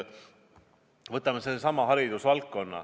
Võtame sellesama haridusvaldkonna.